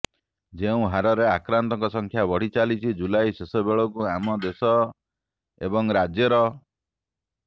ଯେଉଁ ହାରରେ ଆକ୍ରାନ୍ତଙ୍କ ସଂଖ୍ୟା ବଢ଼ି ଚାଲିଛି ଜୁଲାଇ ଶେଷ ବେଳକୁ ଆମ ଦେଶ ଏବଂ ରାଜ୍ୟର